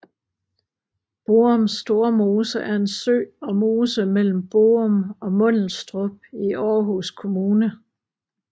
Borum Stormose er en sø og mose mellem Borum og Mundelstrup i Aarhus Kommune